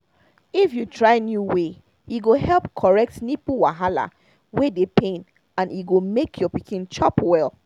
if you try new way e go help correct nipple wahala wey dey pain and e go make your pikin chop well